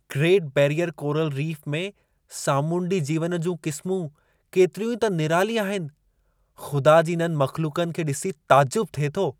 Great Barrier coral reef में सामुंडी जीवनि जूं क़िस्मूं केतिरियूं त निराली आहिनि. खु़दा जी इन्हनि मख़्लूकनि खे डि॒सी तइजुब थिए थो!